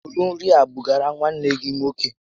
Búrú nri a bugara nwanne gị nwoke!